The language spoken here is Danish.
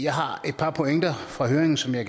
har et par pointer fra høringen som jeg